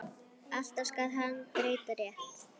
Alltaf skal hann breyta rétt.